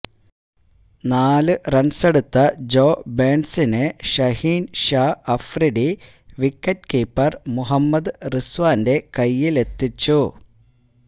നാല് റണ്ണെടുത്ത ജോ ബേണ്സിനെ ഷഹീന് ഷാ അഫ്രീഡി വിക്കറ്റ് കീപ്പര് മുഹമ്മദ് റിസ്വാന്റെ കൈയിലെത്തിച്ചു